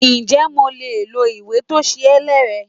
Ǹjẹ́ mo lè lo ìwé tó ṣe é lẹ̀ rẹ?